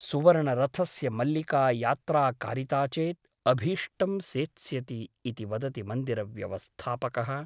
सुवर्णरथस्य मल्लिका यात्रा कारिता चेत् अभीष्टं सेत्स्यति ' इति वदति मन्दिरव्यवस्थापकः ।